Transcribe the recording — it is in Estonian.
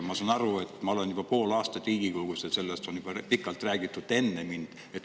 Ma olen sellest Riigikogus juba pool aastat rääkinud ja sellest on pikalt räägitud ka enne mind.